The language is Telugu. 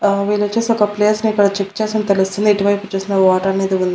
ఆ వీళ్ళొచ్చేసి ఒక ప్లేస్ ని ఇక్కడ చెక్ చేస్తున్నట్టు తెలుస్తుంది ఇటువైపొచ్చేసిందే వాటర్ నైతే --